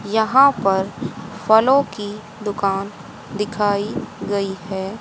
यहां पर फलों की दुकान दिखाई गई है।